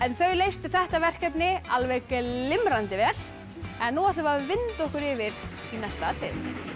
þau leystu þetta verkefni alveg glimrandi vel en nú ætlum við að vinda okkur yfir í næsta atriði